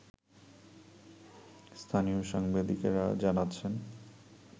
স্থানীয় সাংবাদিকেরা জানাচ্ছেন